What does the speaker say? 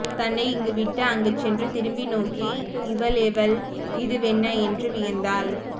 தன்னை இங்குவிட்டு அங்கு சென்று திரும்பி நோக்கி இவளெவள் இதுவென்ன என்று வியந்தாள்